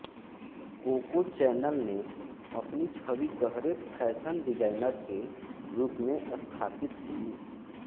cocoa Chanel ने अपनी छवि गहरे फैशन डिजाइनर के रूप में स्थापित की